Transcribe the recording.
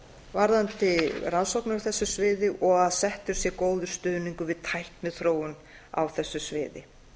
varðandi rannsóknir á þessu sviði og að settur sé góður stuðningur við tækniþróun á þessu sviði